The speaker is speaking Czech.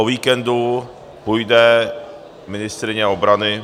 O víkendu půjde ministryně obrany...